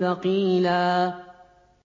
ثَقِيلًا